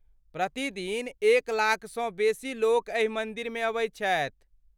प्रति दिन एक लाखसँ बेसी लोक एहि मन्दिरमे अबैत छथि।